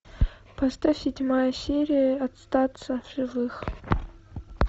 поставь седьмая серия остаться в живых